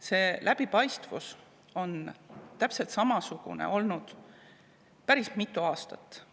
See läbipaistvus on täpselt samasugune olnud päris mitu aastat.